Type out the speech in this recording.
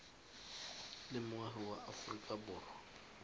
le moagi wa aforika borwa